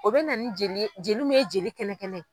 O bɛ na jeli joliw ye jeli kɛnɛ kɛnɛ.